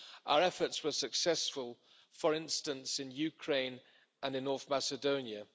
Our efforts were successful, for instance, in Ukraine and in North Macedonia.